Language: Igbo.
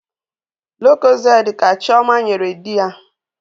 Lokozede ka chioma nyere dị ya